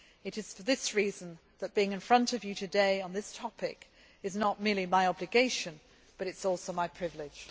we do. It is for this reason that being in front of you today on this topic is not merely my obligation, but it is also my privilege.